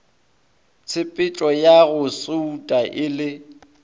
tshepetšoya go souta e le